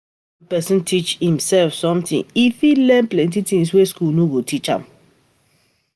When pesin teach imsef something, e fit learn plenty tin wey school no go teach am.